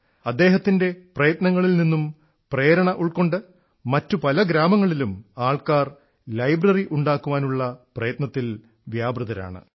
അദ്ദേഹത്തിൻറെ പ്രയത്നങ്ങളിൽ നിന്നും പ്രേരണ ഉൾക്കൊണ്ട് മറ്റു പല ഗ്രാമങ്ങളിലും ആൾക്കാർ ലൈബ്രറി ഉണ്ടാക്കുവാനുള്ള പ്രയത്നത്തിൽ വ്യാപൃതരാണ്